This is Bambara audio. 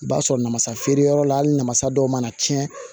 I b'a sɔrɔ namasa feere yɔrɔ la hali namasa dɔw mana tiɲɛ